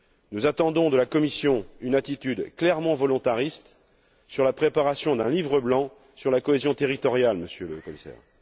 Nous attendons de la Commission une attitude clairement volontariste sur la préparation d'un livre blanc sur la cohésion territoriale, Monsieur le Commissaire.